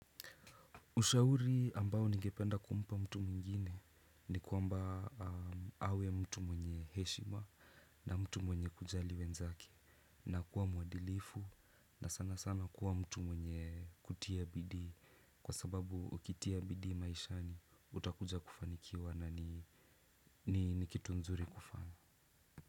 Ushauri ambao ningependa kumpa mtu mwingine ni kuamba awe mtu mwenye heshima na mtu mwenye kujali wenzake na kuwa mwadilifu na sana sana kuwa mtu mwenye kutia bidii kwa sababu ukitia bidii maishani utakuja kufanikiwa na ni kitu nzuri kufanya.